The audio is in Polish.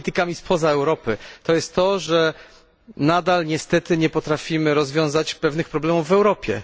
z politykami spoza Europy, jest to, że nadal niestety nie potrafimy rozwiązać pewnych problemów w Europie.